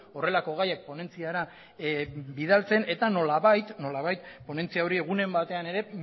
horrelako gaian ponentziara bidaltzen eta nolabait ponentzia hori egunen batean ere